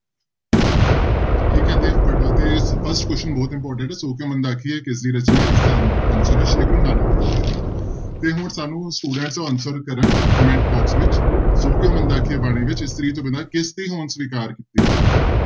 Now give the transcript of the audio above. ਠੀਕ ਹੈ ਤੇ first question ਬਹੁਤ important ਹੈ ਸੌ ਕਿਉਂ ਮੰਦਾ ਆਖੀਐ ਕਿਸਦੀ ਰਚਨਾ ਹੈ ਇਸਦਾ answer ਹੈ ਸ੍ਰੀ ਗੁਰੂ ਨਾਨਕ ਦੇਵ ਜੀ ਦੀ, ਤੇ ਹੁਣ ਸਾਨੂੰ student answer ਕਰਨ comment box ਵਿੱਚ, ਸੌ ਕਿਉਂ ਮੰਦਾ ਆਖੀਐ ਬਾਣੀ ਵਿੱਚ ਇਸਤਰੀ ਤੋਂ ਬਿਨਾਂ ਕਿਸਦੀ ਹੋਂਦ ਸਵਿਕਾਰ ਕੀਤੀ ਗਈ ਹੈ।